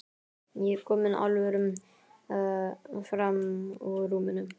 Ég er kominn hálfur fram úr rúminu.